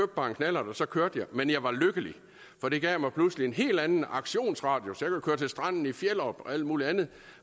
bare en knallert og så kørte jeg men jeg var lykkelig for det gav mig pludselig en helt anden aktionsradius jeg kunne køre til stranden i fjellerup og alt muligt andet